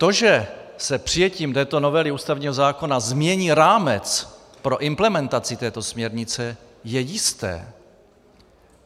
To, že se přijetím této novely ústavního zákona změní rámec pro implementaci této směrnice, je jisté.